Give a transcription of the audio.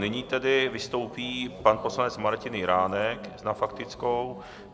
Nyní tedy vystoupí pan poslanec Martin Jiránek na faktickou.